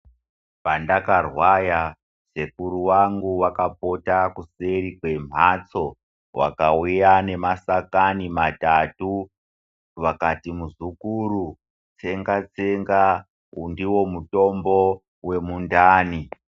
Pandakarwara sekuru angu akapota kuseri kwe mhatso vakauya nemashakani matatu vakati muzukuru tsenga tsenga uyu ndiwo mutombo wemundani .